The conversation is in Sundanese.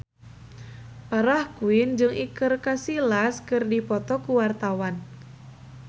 Farah Quinn jeung Iker Casillas keur dipoto ku wartawan